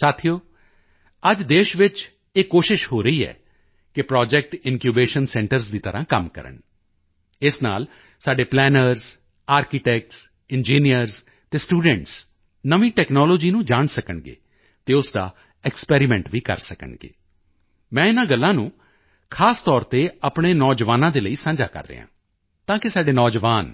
ਸਾਥੀਓ ਅੱਜ ਦੇਸ਼ ਵਿੱਚ ਇਹ ਕੋਸ਼ਿਸ਼ ਹੋ ਰਹੀ ਹੈ ਕਿ ਪ੍ਰੋਜੈਕਟ ਇਨਕਿਊਬੇਸ਼ਨ ਸੈਂਟਰਜ਼ ਦੀ ਤਰ੍ਹਾਂ ਕੰਮ ਕਰਨ ਇਸ ਨਾਲ ਸਾਡੇ ਪਲੈਨਰਜ਼ ਆਰਕੀਟੈਕਟਸ ਇੰਜੀਨੀਅਰਜ਼ ਅਤੇ ਸਟੂਡੈਂਟਸ ਨਵੀਂ ਟੈਕਨਾਲੋਜੀ ਨੂੰ ਜਾਣ ਸਕਣਗੇ ਅਤੇ ਉਸ ਦਾ ਐਕਸਪੈਰੀਮੈਂਟ ਵੀ ਕਰ ਸਕਣਗੇ ਮੈਂ ਇਨ੍ਹਾਂ ਗੱਲਾਂ ਨੂੰ ਖ਼ਾਸ ਤੌਰ ਤੇ ਆਪਣੇ ਨੌਜਵਾਨਾਂ ਦੇ ਲਈ ਸਾਂਝਾ ਕਰ ਰਿਹਾ ਹਾਂ ਤਾਂ ਕਿ ਸਾਡੇ ਨੌਜਵਾਨ